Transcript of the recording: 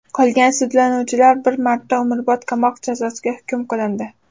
Qolgan sudlanuvchilar bir martadan umrbod qamoq jazosiga hukm qilindi.